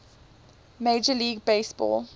major league baseball